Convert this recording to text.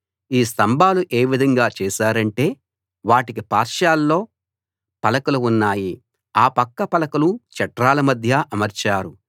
ఈ స్తంభాలు ఏ విధంగా చేశారంటే వాటికి పార్శ్వాల్లో పలకలు ఉన్నాయి ఆ పక్క పలకలు చట్రాల మధ్య అమర్చారు